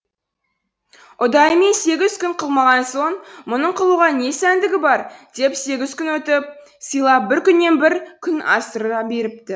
ұдайымен сегіз күн қылмаған соң мұның қылуға не сәндігі бар деп сегіз күн күтіп сыйлап бір күнінен бір күн асыра беріпті